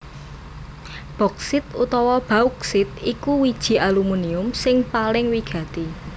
Boksit utawa bauksit iku wiji alumunium sing paling wigati